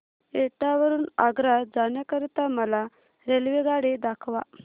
एटा वरून आग्रा जाण्या करीता मला रेल्वेगाडी दाखवा